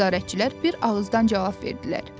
Nəzarətçilər bir ağızdan cavab verdilər.